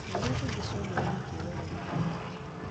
Ciũmbe iria ingĩ ciombirwo na kiugo gĩa kanua ka Mwathani